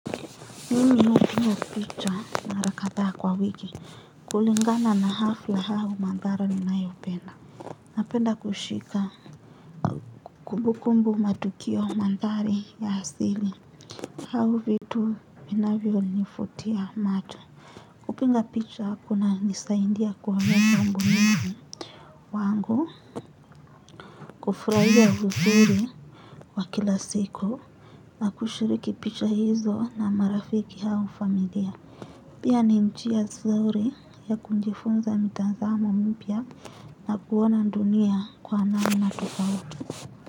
Mimi hupigwa picha mara kadhaa kwa wiki. Kulingana na hafla au mandhara ninayopenda napenda kushika kumbu kumbu matukio mandhari ya asili. Au vitu vinavyo nivutia macho. Kupiga picha kunanisaidia kwa mambo mengi yangu. Kufurahia uzuri wa kila siku. Na kushiriki picha hizo na marafiki au familia. Pia ni njia nzuri ya kujifunza mitazamo mpya na kuona nldunia kwa namna tofauti.